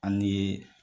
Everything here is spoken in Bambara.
An ye